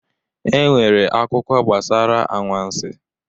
E nwere akụkọ gabasara anwansi